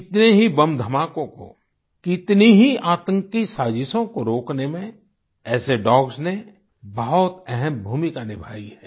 कितने ही बम धमाकों को कितनी ही आंतकी साजिशों को रोकने में ऐसे डॉग्स ने बहुत अहम् भूमिका निभाई है